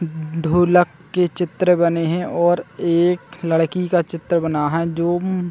उम्म ढोलक के चित्र बने हे और एक लड़की का चित्र बना है जो--